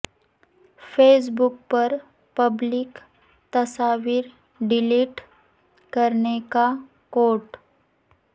face بک پر public تصاویر delete کرنے کا کوڈ